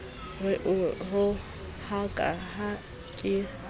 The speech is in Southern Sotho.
ke o rohaka ha ke